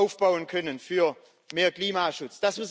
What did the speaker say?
aufbauen können für mehr Klimaschutz